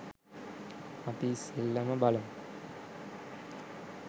අපි ඉස්සලම බලමු